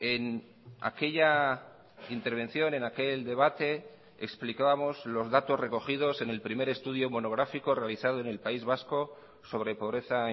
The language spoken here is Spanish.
en aquella intervención en aquel debate explicábamos los datos recogidos en el primer estudio monográfico realizado en el país vasco sobre pobreza